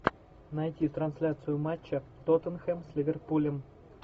найти трансляцию матча тоттенхэм с ливерпулем